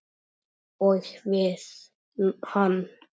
Og við hann.